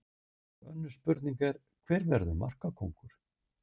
Önnur spurning er: Hver verður markakóngur?